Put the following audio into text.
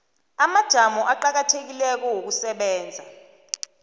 amajamo aqakathekileko wokusebenza